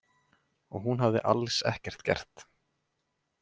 Og hún hafði alls ekkert gert.